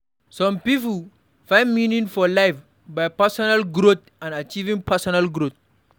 Some pipo find meaning for life by personal growth and achieving personal growth